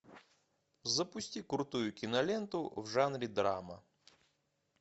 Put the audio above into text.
запусти крутую киноленту в жанре драма